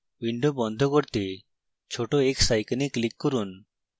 window বন্ধ করতে ছোট x icon click করুন